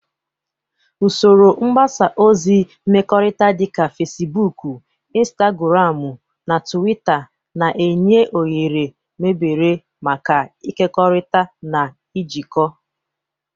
Usoro mgbasa ozi mmekọrịta dị ka Fecibuukụ, Intagụramụ na Tuwita na-enye oghere mebere maka ịkekọrịta na ijikọ.